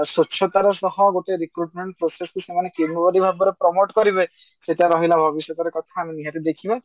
ସ୍ବଚ୍ଛତା ର ଶହ ଗୋଟେ recruitment process କୁ ସେମାନେ କେଉଁ ଭଳି ଭାବରେ promote କରିବେ ସେଟା ରହିଲା ଭବିଷ୍ୟତର କଥା ନିହାତି ଦେଖିବା